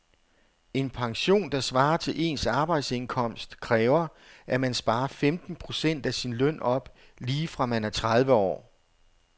En pension, der svarer til ens arbejdsindkomst, kræver at man sparer femten procent af sin løn op lige fra man er tredive år.